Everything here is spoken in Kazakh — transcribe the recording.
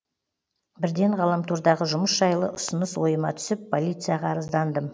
бірден ғаламтордағы жұмыс жайлы ұсыныс ойыма түсіп полицияға арыздандым